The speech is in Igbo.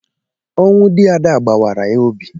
Ọnwụ dị Ada gbawara ya obi.